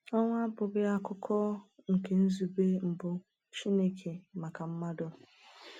Ọnwụ abụghị akụkụ nke nzube mbụ Chineke maka mmadụ.